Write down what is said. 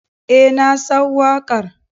Eh nasan wakar.